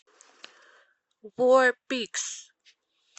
вор пигс